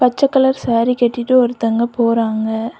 பச்ச கலர் சாரி கட்டிட்டு ஒருத்தங்க போறாங்க.